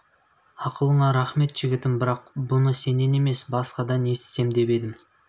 ақылыңа рақмет жігітім бірақ бұны сенен емес басқадан естісем деп едім